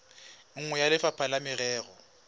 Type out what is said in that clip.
nngwe ya lefapha la merero